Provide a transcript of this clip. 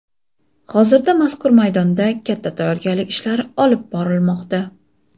Hozirda mazkur maydonda katta tayyorgarlik ishlari olib borilmoqda .